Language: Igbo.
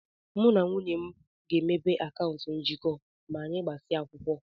Mụ na nwunye m ga-emepe akaụntụ njikọ ma anyị gbasịa akwụkwọ.